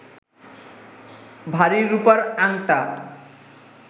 ভারী রূপার আঙটা